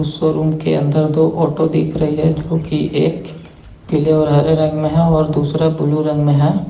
Showroom के अंदर दो ऑटो दिख रही है जो की एक पीले और हरे रंग में है और दूसरा ब्लू रंग में है।